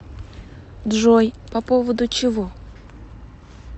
джой по поводу чего